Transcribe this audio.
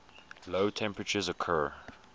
low temperatures occur